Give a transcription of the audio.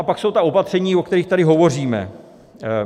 A pak jsou ta opatření, o kterých tady hovoříme.